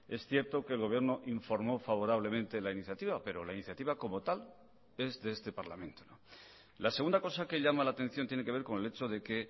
es cierto que el gobierno informó favorablemente la iniciativa pero la iniciativa como tal es de este parlamento la segunda cosa que llama la atención tiene que ver con el hecho de que